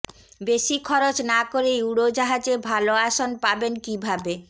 বেশি খরচ না করেই উড়োজাহাজে ভালো আসন পাবেন কীভাবে